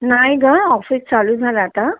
नाही ग ऑफिस चालू झाला आता